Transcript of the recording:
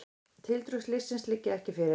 Tildrög slyssins liggja ekki fyrir.